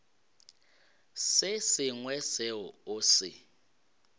se sengwe seo o se